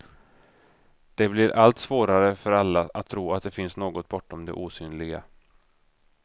Det blir allt svårare för alla att tro att det finns något bortom det osynliga.